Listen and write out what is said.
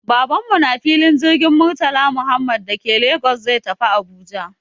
Baban mu na filin jirgin Murtala Muhammad da ke Lagos zai tafi Abuja